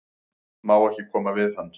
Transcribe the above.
Má ekki koma við hann?